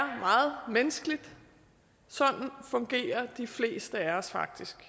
meget menneskeligt sådan fungerer de fleste af os faktisk